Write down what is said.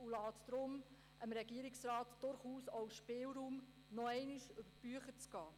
Deshalb lässt er dem Regierungsrat durchaus auch Spielraum, nochmals über die Bücher zu gehen.